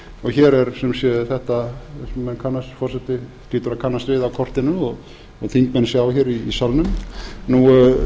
og hér er sem sé þetta sem forseti hlýtur að annað við á kortinu og þingmenn sjá hér í salnum